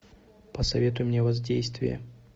посоветуй мне воздействие